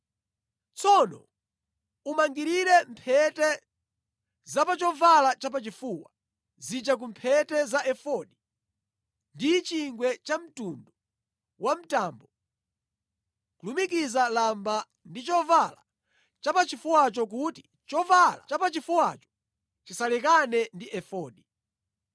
Tsono umangirire mphete za pa chovala chapachifuwa zija ku mphete za efodi ndi chingwe chamtundu wa mtambo, kulumikiza lamba ndi chovala chapachifuwacho kuti chovala chapachifuwacho chisalekane ndi efodi.